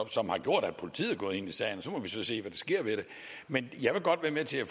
som har gjort at politiet er gået ind i sagen og så må vi så se hvad der sker med det men jeg vil godt være med til at